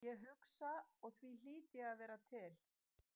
Ég hugsa og því hlýt ég að vera til.